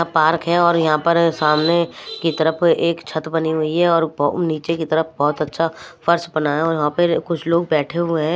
Park है और यहां पर सामने की तरफ एक छत बनी हुई है और नीचे की तरफ बहुत अच्छा फर्श बना है और यहां पर कुछ लोग बैठे हुए हैं।